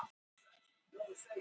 Tilefni byrjun starfsins hér.